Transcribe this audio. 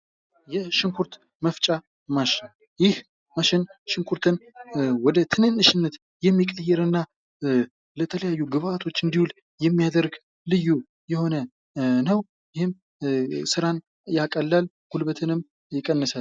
የሽንኩርት መፍጫ ማሽን ይህ ማሽን ሽንኩርትን ወደ ትንንሽነት የሚቀይር እና ለተለያዩ ግብአቶች እንዲውል የሚያደርግ ልዩ የሆነ ነው። ይህም ሥራን ያቀላል ፣ ጉልበትንም ይቀንሳል።